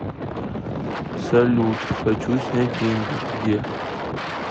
салют хочу снять деньги где